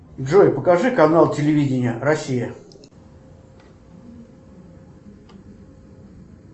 джой покажи канал телевидения россия